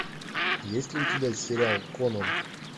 есть ли у тебя сериал конан